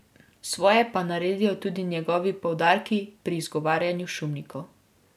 Svoje pa naredijo tudi njegovi poudarki pri izgovarjanju šumnikov.